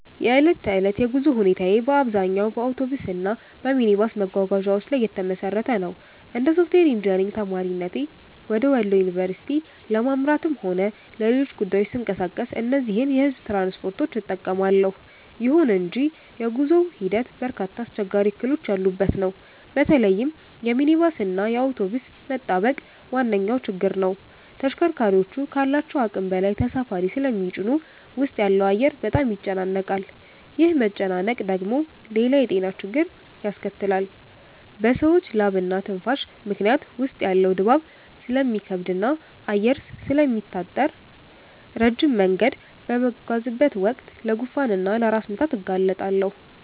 የዕለት ተዕለት የጉዞ ሁኔታዬ በአብዛኛው በአውቶቡስ እና በሚኒባስ መጓጓዣዎች ላይ የተመሰረተ ነው። እንደ ሶፍትዌር ኢንጂነሪንግ ተማሪነቴ ወደ ወሎ ዩኒቨርሲቲ ለማምራትም ሆነ ለሌሎች ጉዳዮች ስንቀሳቀስ እነዚህን የሕዝብ ትራንስፖርቶች እጠቀማለሁ። ይሁን እንጂ የጉዞው ሂደት በርካታ አስቸጋሪ እክሎች ያሉበት ነው። በተለይም የሚኒባስ እና የአውቶቡስ መጣበቅ ዋነኛው ችግር ነው። ተሽከርካሪዎቹ ካላቸው አቅም በላይ ተሳፋሪ ስለሚጭኑ ውስጥ ያለው አየር በጣም ይጨናነቃል። ይህ መጨናነቅ ደግሞ ሌላ የጤና ችግር ያስከትላል፤ በሰዎች ላብና ትንፋሽ ምክንያት ውስጥ ያለው ድባብ ስለሚከብድና አየር ስለሚታጠር፣ ረጅም መንገድ በምጓዝበት ወቅት ለጉንፋን እና ለራስ ምታት እጋለጣለሁ